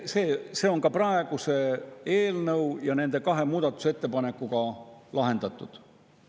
See on praeguse eelnõu ja nende kahe muudatusettepanekuga lahendatud.